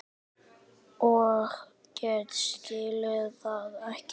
Og ég skildi það ekki.